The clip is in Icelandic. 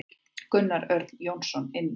Gunnar Örn Jónsson inn.